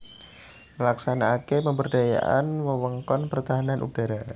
Nglaksanakaké pemberdayaan wewengkon pertahanan udhara